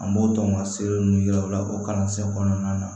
An b'o tɔn ka sɛbɛn ninnu yira u la o kalansen kɔnɔna na